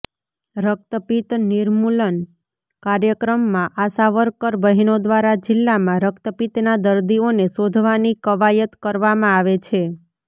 રક્તપિત નિર્મૂલન કાર્યક્રમમાં આશાવર્કર બહેનો દ્વારા જિલ્લામાં રક્તપિતના દર્દીઓને શોધવાની કવાયત કરવામાં આવે છે